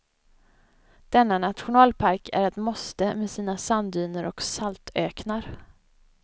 Denna nationalpark är ett måste med sina sanddyner och saltöknar.